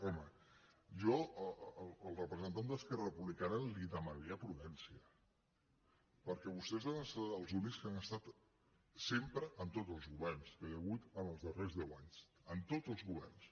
home jo al representant d’esquerra republicana li demanaria prudència perquè vostès han estat els únics que han estat sempre en tots els governs que hi ha hagut els darrers deu anys en tots els governs